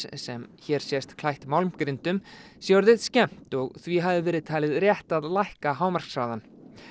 sem hér sést klætt sé orðið skemmt og því hafi verið talið rétt að lækka hámarkshraðann